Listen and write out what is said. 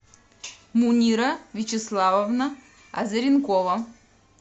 мунира вячеславовна азаренкова